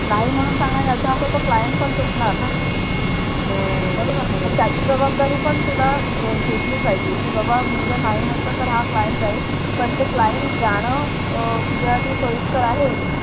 नाही म्हणून सांगणं म्हणजे याचा अर्थ तो Client तुटणार ना मग त्याची जबाबदारी पण तुला घेतली पाहिजे. कि बाबा मी नाही म्हटलं तर Client जाईल कारण ते Client जण तुझ्या साठी सोयीस्कर आहे